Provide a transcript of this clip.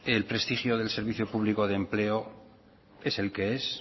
el prestigio del servicio público de empleo es el que es